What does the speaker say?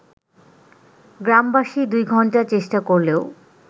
গ্রামবাসী দুই ঘণ্টা চেষ্টা করলেও